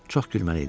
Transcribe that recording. Çox gülməli idi.